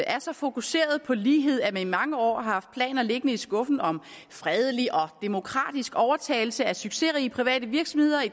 er så fokuseret på lighed at man i mange år har haft planer liggende i skuffen om fredelig og demokratisk overtagelse af succesrige private virksomheder i